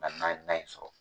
Hali n'an ye tan in sɔrɔ.